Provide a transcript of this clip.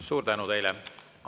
Suur tänu teile!